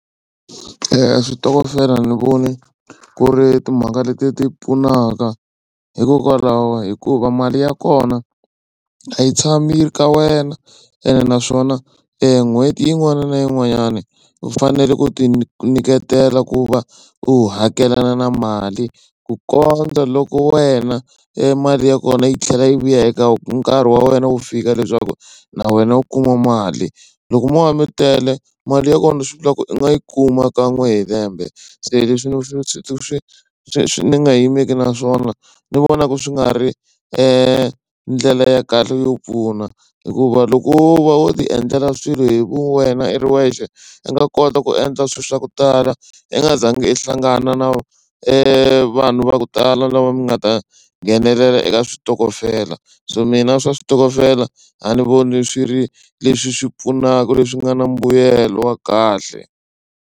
Switokofela ni voni ku ri timhaka leti ti pfunaka hikokwalaho hikuva mali ya kona a yi tshama yi ri ka wena ene naswona n'hweti yin'wana na yin'wanyana u fanele ku tinyiketela ku va u hakelana na mali ku kondza loko wena mali ya kona yi tlhela yi vuya eka nkarhi wa wena wu fika leswaku na wena u kuma mali loko mo va mi tele mali ya kona swi vulaka ku i nga yi kuma kan'we hi lembe se leswi swi swi swi swi swi swi ni nga yimeli naswona ni vonaku swi nga ri ndlela ya kahle yo pfuna hikuva loko wo va wo ti endlela swilo hi vuwena i ri wexe i nga kota ku endla swilo swa ku tala i nga za ngi i hlangana na vanhu va ku tala lava mi nga ta nghenelela eka switokofela so mina swa switokofela a ni voni swi ri leswi swi pfunaka leswi nga na mbuyelo wa kahle.